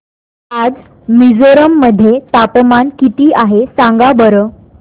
आज मिझोरम मध्ये तापमान किती आहे सांगा बरं